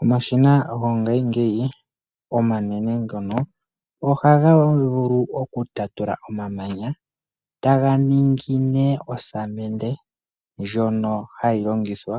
Omashina go ngashingeyi ngono, ohaga vulu oku talula omamanya taga ningi nee osamende ndjono hayi longithwa